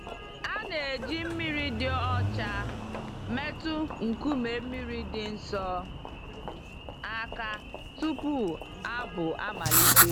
A na-eji mmiri dị ọcha metụ nkume mmiri dị nsọ àkà tupu abụ amalite.